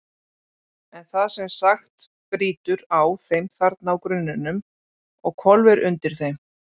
En það sem sagt brýtur á þeim þarna á grunninu og hvolfir undir þeim.